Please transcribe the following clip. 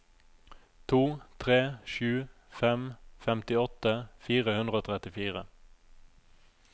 to tre sju fem femtiåtte fire hundre og trettifire